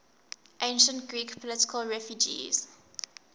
ancient greek political refugees